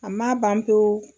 A ma ban pewu